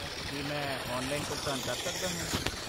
ਕੀ ਮੈਂ ਔਨਲਾਈਨ ਭੁਗਤਾਨ ਕਰ ਸਕਦਾ ਹਾਂ?